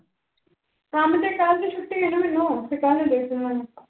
ਕੰਮ ਤੇ ਕੱਲ ਦੀ ਛੁੱਟੀ ਐ ਮੈਨੂੰ